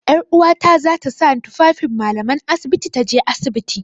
'Yaruwata za ta sa tufafin mallaman asibiti ta je asibiti.